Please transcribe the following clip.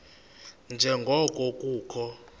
nje ngoko kukho